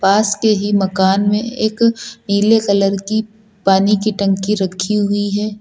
पास के ही मकान में एक नीले कलर की पानी की टंकी रखी हुई है।